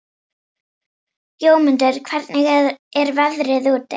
Jómundur, hvernig er veðrið úti?